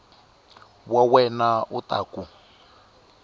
wa wena u ta ku